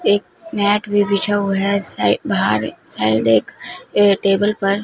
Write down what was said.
एक मैट भी बिछा हुआ है सा बाहर साइड एक अ टेबल पर--